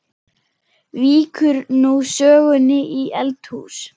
Víkur nú sögunni í eldhús.